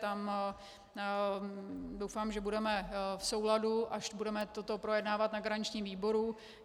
Tam doufám, že budeme v souladu, až budeme toto projednávat na garančním výboru.